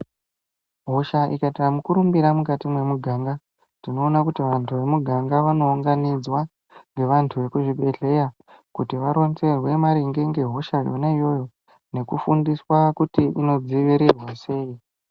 Hosha ikaita mukurumbira mukati memuganga, tinoona kuti vantu wemuganga vanounganidzwa nevantu vekuzvibhedhleya kuti varonzerwe maringe nehosha yona iyoyo nekufundiswa kuti inodzivirirwa sei.